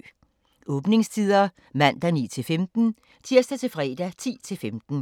Åbningstider: Mandag: 9-15 Tirsdag-fredag: 10-15